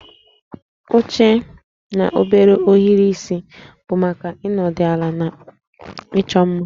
Oche na obere ohiri isi bụ maka ịnọdụ ala na ịchọ mma